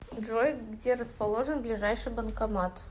джой где расположен ближайший банкомат